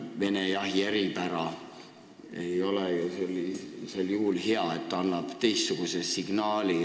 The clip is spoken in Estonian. "Vene jahi eripära" ei ole ju sel juhul hea film, sest annab teistsuguse signaali.